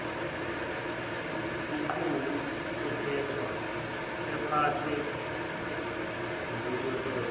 iqhubu ephathwa ngokutotoswa